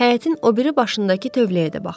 Həyətin o biri başındakı tövləyə də baxdıq.